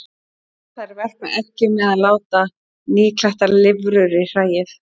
Þær verpa eggjum eða láta nýklaktar lirfur í hræið.